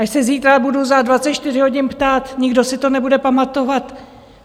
Až se zítra budu za 24 hodin ptát, nikdo si to nebude pamatovat.